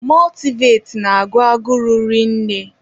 Mọltịvaịtị na-agụ agụrụ rinne.